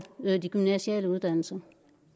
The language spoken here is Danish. de gymnasiale uddannelser